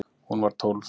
Hún var tólf.